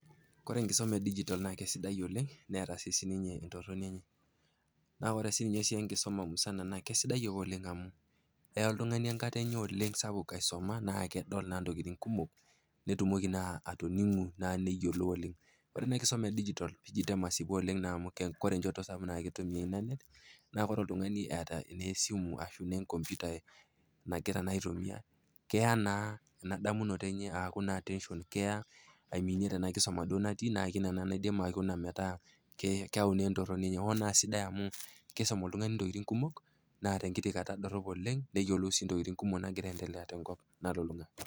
Ore enkisoma e digital naa kesidai oleng' netaa sii sininye entorroni enye. Naa ore sii sininye enkisoma musana naa kesidai ake oleng' amu eya oltung'ani enkata enye sapuk aisuma naa kedol naa intokitin kumok, nitumoki naa atoning'u naa niyiolou oleng'. Ore naa enkisoma e digital ijo masipu oleng' amu ore enjoto sapuk naakitumia internet naa ore oltungani eeta esimu ashu enkomputa nagira naa aitumiya iyaa naa enadamunuto aaku naa attention keya aiminie tena kisuma duo natii neeku ina ake naidim aikuna metaa keewu naa entoroni enye. Naa amu kiisum oltungani intokitin kumok naa tenkiti kata dorop oleng' neyiolou sii intokitin kumok nagira aendelea tenkopang', nalulung'a.